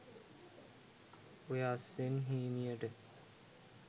ඔය අස්සෙන් හීනියට